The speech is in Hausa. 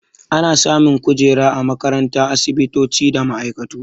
Ana samun kujera a makarantu, asibitoci da ma'aikatu.